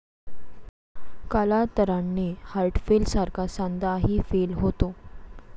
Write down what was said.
कालांतराने 'हार्टफेल' सारखा सांधाही 'फेल' होतो.